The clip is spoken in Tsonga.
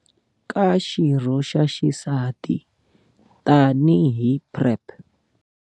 ka xirho xa xisati tanihi PrEP.